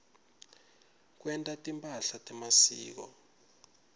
kwenta timphahla temasiko